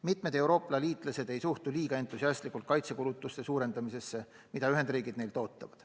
Mitu Euroopa liitlasetd ei suhtu kuigi entusiastlikult kaitsekulutuste suurendamisesse, mida Ühendriigid neilt ootavad.